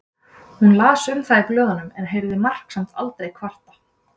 Hún las um það í blöðunum en heyrði Mark samt aldrei kvarta.